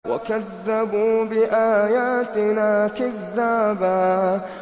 وَكَذَّبُوا بِآيَاتِنَا كِذَّابًا